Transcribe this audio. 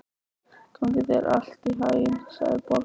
Gangi þér allt í haginn, Sæborg.